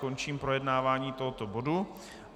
Končím projednávání tohoto bodu.